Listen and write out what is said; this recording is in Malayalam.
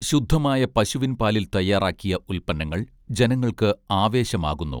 ശുദ്ധമായ പശുവിൻ പാലിൽ തയ്യാറാക്കിയ ഉൽപന്നങ്ങൾ ജനങ്ങൾക്ക് ആവേശമാകുന്നു